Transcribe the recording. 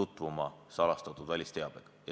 tutvuma salastatud välisteabega.